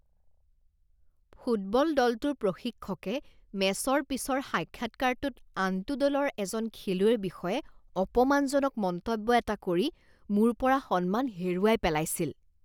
Football দলটোৰ প্ৰশিক্ষকে মেচৰ পিছৰ সাক্ষাৎকাৰটোত আনটো দলৰ এজন খেলুৱৈৰ বিষয়ে অপমানজনক মন্তব্য এটা কৰি মোৰ পৰা সন্মান হেৰুৱাই পেলাইছিল।